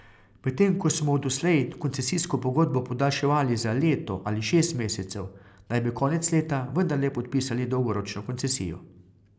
Medtem ko so mu doslej koncesijsko pogodbo podaljševali za leto ali šest mesecev, naj bi konec leta vendarle podpisali dolgoročno koncesijo.